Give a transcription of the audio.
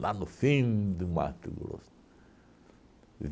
Lá no fim de Mato Grosso.